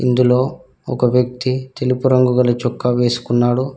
ఇందులో ఒక వ్యక్తి తెలుపు రంగు గల చొక్కా వేసుకున్నాడు.